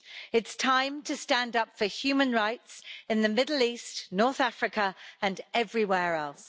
It's time to stand up for human rights in the Middle East, North Africa and everywhere else.